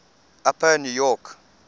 upper new york